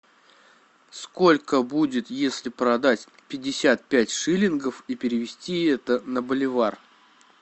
сколько будет если продать пятьдесят пять шиллингов и перевести это на боливар